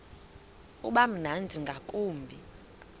uba mnandi ngakumbi